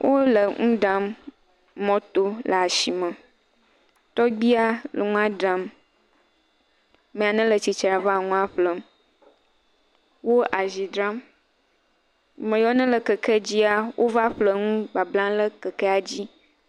Wole nu ɖam mɔto le asime. Tɔgbia nɔ nua ɖam. Ame aɖe le tsitre ɖe afi ma nua ƒlem. Wo azi dzram ame yawo ne le kekedzia wova ƒle nu bablam, ɖe kekea dzi.